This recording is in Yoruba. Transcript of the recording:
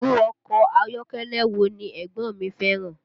Irú ọkọ ayọ́kẹ́lẹ́ wo ni ẹ̀gbọ́n mi fẹ́ràn?